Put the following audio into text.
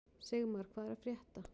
Sigmar, hvað er að frétta?